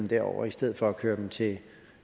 derover i stedet for at køre dem til